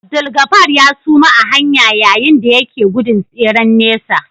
Abdulgafar ya suma a hanya yayin da yake gudun tseren nesa